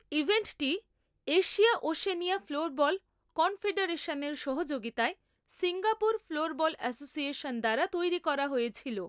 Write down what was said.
ইভেন্টটি Asia Oceania floorball কনফেডারেশনের সহযোগিতায় Singapore floorball association দ্বারা তৈরি করা হয়েছিল।